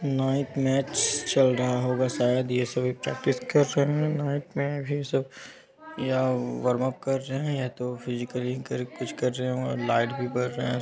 Night match चल रहा होगाशायद ये सभी प्रैक्टिस कर रहे हैं नाईट में भी सब या वर्मा उप कर रहे हैं तो फिजिकली कर कुछ कर रहे हैं और लाइट भी बर रहे है।